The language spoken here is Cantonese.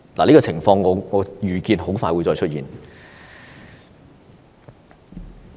這種情況，我預見會很快再出現。